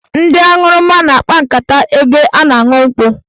Ndị aṅụrụma na-akpa nkata n'ebe a na-aṅụ nkwụ.